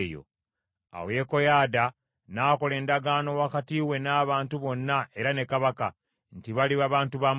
Awo Yekoyaada n’akola endagaano wakati we n’abantu bonna era ne kabaka, nti baliba bantu ba Mukama .